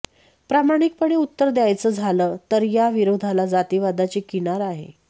प्रामाणिकपणे उत्तर द्यायचं झालं तर या विरोधाला जातिवादाची किनार आहे